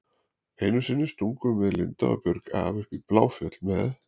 Einu sinni stungum við Linda og Björg af upp í Bláfjöll með